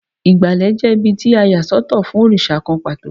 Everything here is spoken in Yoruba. Ìgbàlẹ̀ jẹ́ ibí tí a yà sọ́tọ̀ fún òrìṣà kan pàtó.